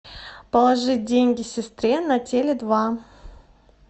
положить деньги сестре на теле два